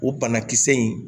O banakisɛ in